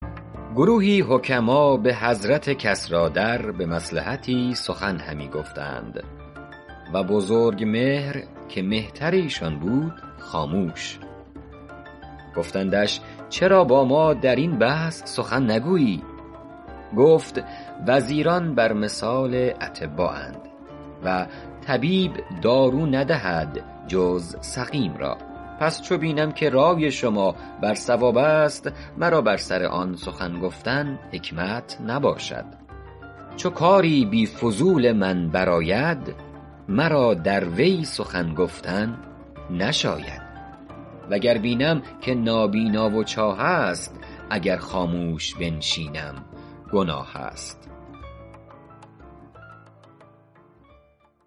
گروهی حکما به حضرت کسریٰ در به مصلحتی سخن همی گفتند و بزرگمهر که مهتر ایشان بود خاموش گفتندش چرا با ما در این بحث سخن نگویی گفت وزیران بر مثال اطبااند و طبیب دارو ندهد جز سقیم را پس چو بینم که رای شما بر صواب است مرا بر سر آن سخن گفتن حکمت نباشد چو کاری بی فضول من بر آید مرا در وی سخن گفتن نشاید و گر بینم که نابینا و چاه است اگر خاموش بنشینم گناه است